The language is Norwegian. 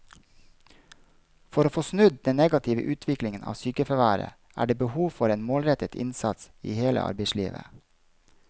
For å få snudd den negative utviklingen av sykefraværet er det behov for en målrettet innsats i hele arbeidslivet.